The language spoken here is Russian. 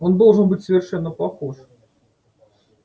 он должен быть совершенно похож